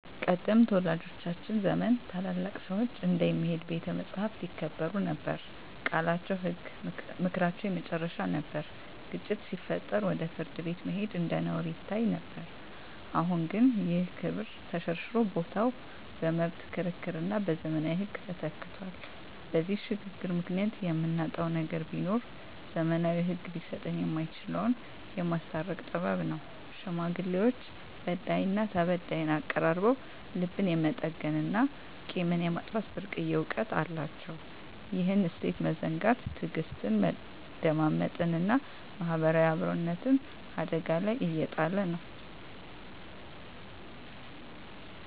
ቀደምት ወላጆቻችን ዘመን ታላላቅ ሰዎች እንደ "የሚሄድ ቤተ መጻሕፍት" ይከበሩ ነበር፤ ቃላቸው ህግ፣ ምክራቸው የመጨረሻ ነበር። ግጭት ሲፈጠር ወደ ፍርድ ቤት መሄድ እንደ ነውር ይታይ ነበር። አሁን ግን ይህ ክብር ተሸርሽሮ ቦታው በመብት ክርክርና በዘመናዊ ህግ ተተክቷል። በዚህ ሽግግር ምክንያት የምናጣው ነገር ቢኖር፣ ዘመናዊው ህግ ሊሰጠን የማይችለውን "የማስታረቅ ጥበብ" ነው። ሽማግሌዎች በዳይና ተበዳይን አቀራርበው ልብን የመጠገንና ቂምን የማጥፋት ብርቅዬ እውቀት አላቸው። ይህን እሴት መዘንጋት ትዕግስትን፣ መደማመጥንና ማህበራዊ አብሮነትን አደጋ ላይ እየጣለ ነው።